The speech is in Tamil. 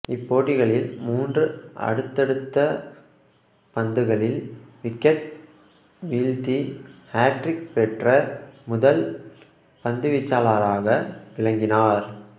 இப்போட்டிகளில் மூன்று அடுத்தடுத்த பந்துகளில் விக்கெட் வீழ்த்தி ஹேட்ரிக் பெற்ற முதல் பந்துவீச்சாளராக விளங்கினார்